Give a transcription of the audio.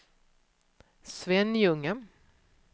Svenljunga